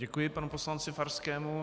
Děkuji panu poslanci Farskému.